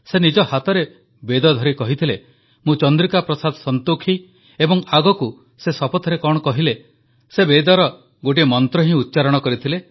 ସେ ନିଜ ହାତରେ ବେଦଧରି କହିଥିଲେ ମୁଁ ଚନ୍ଦ୍ରିକା ପ୍ରସାଦ ସଂତୋଖି ଏବଂ ଆଗକୁ ସେ ଶପଥରେ କଣ କହିଲେ ସେ ବେଦର ହିଁ ଗୋଟିଏ ମନ୍ତ୍ର ଉଚ୍ଚାରଣ କଲେ